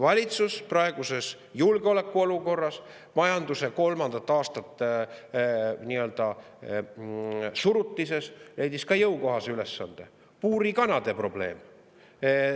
Valitsus praeguses julgeolekuolukorras, kui majandus on kolmandat aastat nii-öelda surutises, leidis ka jõukohase ülesande: puurikanade probleem.